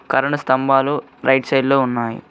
Current స్తంభాలు right side లో ఉన్నాయి.